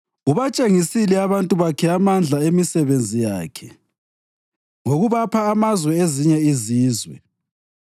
Ubatshengisile abantu bakhe amandla emisebenzi yakhe, ngokubapha amazwe ezinye izizwe.